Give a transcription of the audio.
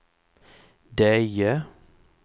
Deje